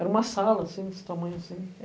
Era uma sala, assim, desse tamanho, assim.